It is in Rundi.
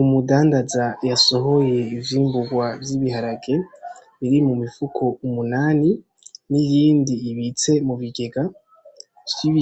Umudandaza yasohoye ivyimburwa vy'ibiharage biri mu mifuko umunani n'iyindi ibitse mu bigega